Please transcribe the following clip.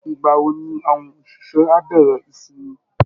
Ìgbà wo ni àwọn òṣìṣẹ́ á bẹ̀rẹ̀ ìsinmi?